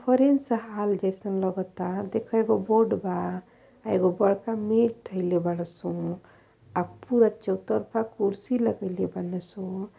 hall जइसन लगत आ देख एगो बोर्ड बा एगो बड़का मेज धइले बाड़ा सो औ चौतरफा कुर्सी लगैले बड़ा सु --